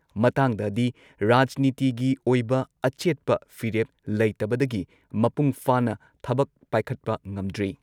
ꯃꯇꯥꯡꯗꯗꯤ ꯔꯥꯖꯅꯤꯇꯤꯒꯤ ꯑꯣꯏꯕ ꯑꯆꯦꯠꯄ ꯐꯤꯔꯦꯞ ꯂꯩꯇꯕꯗꯒꯤ ꯃꯄꯨꯡꯐꯥꯅ ꯊꯕꯛ ꯄꯥꯏꯈꯠꯄ ꯉꯝꯗ꯭ꯔꯤ ꯫